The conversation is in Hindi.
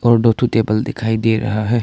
और दो ठो टेबल दिखाई दे रहा है।